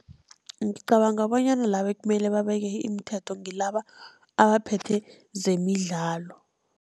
Ngicabanga bonyana laba ekumele babeke imithetho ngilaba abaphethe zemidlalo.